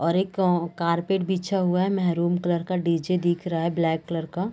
और एक कारपेट बिछा हुआ है मेरून कलर का डी.जे दिख रह ब्लैक कलर का।